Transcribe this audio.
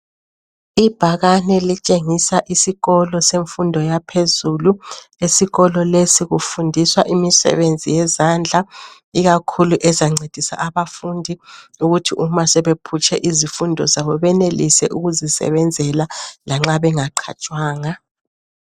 Ibhakane elitshengisa isikolo semfundo yaphezulu, esikolo lesi kufundiswa imisebenzi yezandla ikakhulu ezancedisa abafundi ukuthi uma sebephutshe izifundo zabo benelise ukuzisebenzela lanxa benga qhatshwanga.